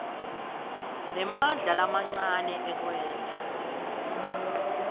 nemandla lamancane ekwenta